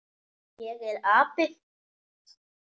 Ég er api.